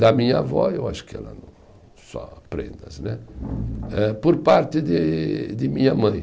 Da minha avó, eu acho que ela só né, eh por parte de de minha mãe.